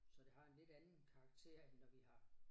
Så det har en lidt anden karakter end når vi har